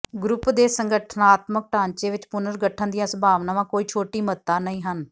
group ਦੇ ਸੰਗਠਨਾਤਮਕ ਢਾਂਚੇ ਵਿਚ ਪੁਨਰਗਠਨ ਦੀਆਂ ਸੰਭਾਵਨਾਵਾਂ ਕੋਈ ਛੋਟੀ ਮਹੱਤਤਾ ਨਹੀਂ ਹਨ